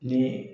Ni